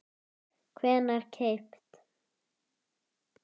hvenær keypt?